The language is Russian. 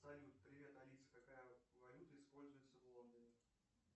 салют привет алиса какая валюта используется в лондоне